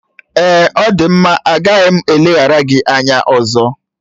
Ọ dị mma, agaghị m eleghara gị anya ọzọ